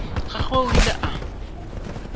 ga gagwe o ile a